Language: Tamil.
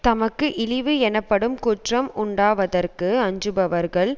தமக்கு இழிவு எனப்படும் குற்றம் உண்டாவதற்கு அஞ்சுபவர்கள்